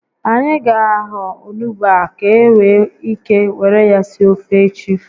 Anyị ga ahọ onugbu a ka e nwee ike were ya sie ofe echi